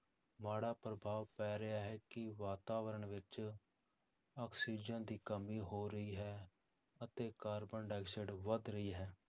ਮਾੜਾ ਪ੍ਰਭਾਵ ਪੈ ਰਿਹਾ ਹੈ ਕਿ ਵਾਤਾਵਰਨ ਵਿੱਚ ਆਕਸੀਜਨ ਦੀ ਕਮੀ ਹੋ ਰਹੀ ਹੈ ਅਤੇ ਕਾਰਬਨ ਡਾਈਆਕਸਾਈਡ ਵੱਧ ਰਹੀ ਹੈ।